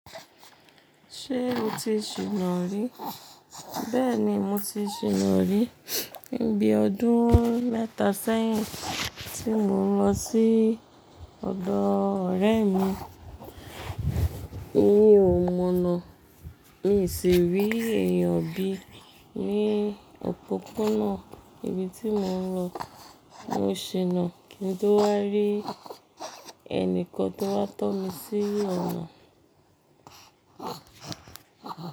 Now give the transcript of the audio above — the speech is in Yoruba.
Ṣé o ti ṣìná rí? Bẹ́ẹ̀ni mo ti ṣìná rí ní bíi ọdún mẹ́ta sẹ́yìn tí mo lọ sí ọ̀dọ̀ ọ̀rẹ́ mi mí o mọnà. Mi sì rí èèyàn bí ní òpópónà ibi tí mò ń lọ. Mo ṣìnà kí n tó wá rí ẹnìkan tó wá tọ́ mi sí ònà.